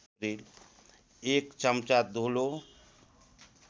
एक चम्चा धुलो